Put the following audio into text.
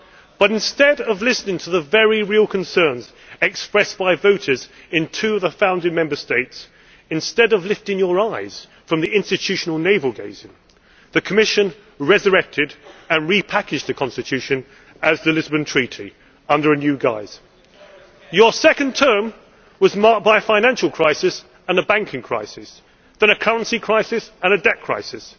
But instead of listening to the very real concerns expressed by voters in two of the founding Member States, instead of lifting your eyes from the institutional navel gazing, the Commission resurrected and repackaged the Constitution as the Lisbon Treaty, under a new guise. Your second term was marked by a financial crisis and a banking crisis and then a currency crisis and a debt crisis.